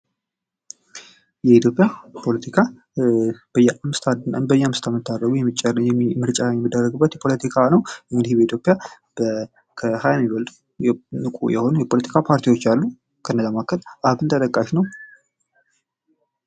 የኢትዮጵያ ፖለቲካ በየአምስት አመቱ ምርጫ የሚደረግበት ፖለቲካ ነው። እንግዲህ በኢትዮጵያ ከሀያ የሚበልጡ ንቁ የሆኑ የፖለቲካ ፓርቲዎች አሉ። ከነዚህም መካከል አብን ተጠቃሽ ነው።